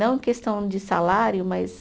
Não em questão de salário, mas.